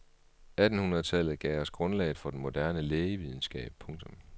Attenhundredetallet gav os grundlaget for den moderne lægevidenskab. punktum